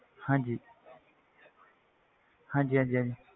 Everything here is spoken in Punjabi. ਹਾਂਜੀ ਹਾਂਜੀ ਹਾਂਜੀ ਹਾਂਜੀ।